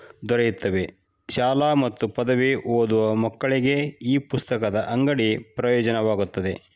ದೊರೆಯುತ್ತವೆ ಶಾಲಾ ಮಾತು ಪದವಿ ಓದುವ ಮಕ್ಕಳಿಗೆ ಈ ಪುಸ್ತಕದ ಅಂಗಡಿ ಪ್ರಯೋಜನವಾಗುತ್ತದೆ.